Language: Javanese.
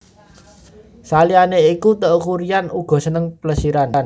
Saliyané iku Teuku Ryan uga seneng plesiran